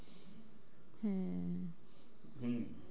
হম